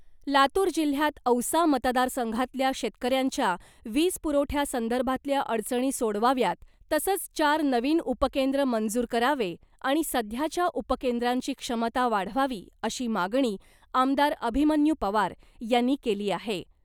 लातूर जिल्ह्यात औसा मतदारसंघातल्या शेतकऱ्यांच्या वीज पुरवठ्यासंदर्भातल्या अडचणी सोडवाव्यात , तसंच चार नवीन उपकेंद्र मंजूर करावे , आणि सध्याच्या उपकेंद्रांची क्षमता वाढवावी अशी मागणी , आमदार अभिमन्यू पवार यांनी केली आहे .